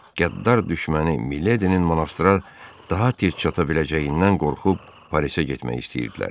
Qəddar düşməni Mileydinin monastra daha tez çata biləcəyindən qorxub Parisə getmək istəyirdilər.